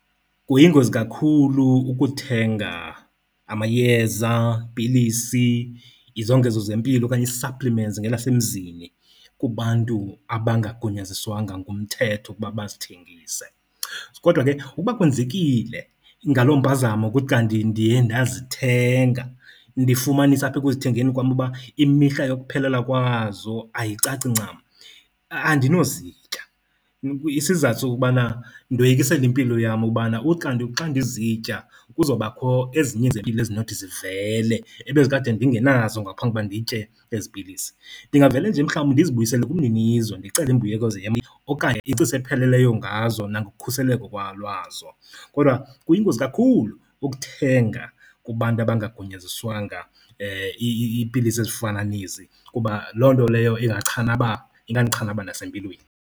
Kuyingozi kakhulu ukuthenga amayeza, pilisi, izongezo zempilo okanye ii-supplements ngelasemzini kubantu abangagunyaziswanga ngumthetho ukuba bazithengise. Kodwa ke ukuba kwenzekile, ngaloo mpazamo kuthi kanti ndiye ndazithenga ndifumanise apha ekuzithengeni kwam uba imihla yokuphelelwa kwazo ayicaci ncam, andinozitya. Isizathu sokubana ndoyikisela impilo yam ubana uthi kanti xa ndizitya kuzobakho ezinye ezinothi zivele ebezikade ndingenazo ngaphambi kokuba nditye ezi pilisi. Ndingavele nje mhlawumbi ndizibuyisele kumninizo, ndicele imbuyekezo yam okanye ingcaciso epheleleyo ngazo nangokukhuseleko lwazo. Kodwa kuyingozi kakhulu ukuthenga kubantu abangangunyaziswanga iipilisi ezifana nezi kuba loo nto leyo ingachanaba ingandichana nasempilweni.